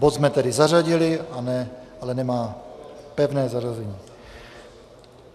Bod jsme tedy zařadili, ale nemá pevné zařazení.